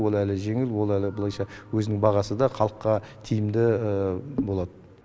ол әлі жеңіл ол әлі былайша өзінің бағасы да халыққа тиімді болады